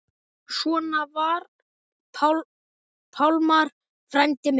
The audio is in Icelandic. Svona var Pálmar frændi minn.